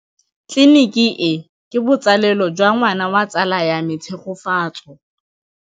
Tleliniki e, ke botsalêlô jwa ngwana wa tsala ya me Tshegofatso.